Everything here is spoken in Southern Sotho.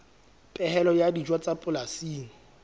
phepelo ya dijo tsa polasing